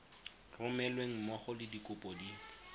romelweng mmogo le dikopo di